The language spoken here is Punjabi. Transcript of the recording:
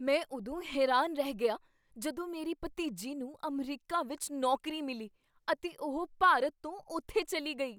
ਮੈਂ ਉਦੋਂ ਹੈਰਾਨ ਰਹਿ ਗਿਆ ਜਦੋਂ ਮੇਰੀ ਭਤੀਜੀ ਨੂੰ ਅਮਰੀਕਾ ਵਿੱਚ ਨੌਕਰੀ ਮਿਲੀ ਅਤੇ ਉਹ ਭਾਰਤ ਤੋਂ ਉੱਥੇ ਚੱਲੀ ਗਈ।